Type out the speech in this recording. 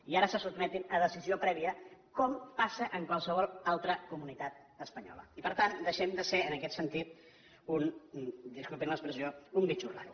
i ara se sotmeten a decisió prèvia com passa en qualsevol altra comunitat espanyola i per tant deixem de ser en aquest sentit un disculpin l’expressió bitxo raro